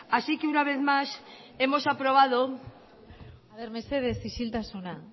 así que una vez más hemos aprobado a ber mesedez isiltasuna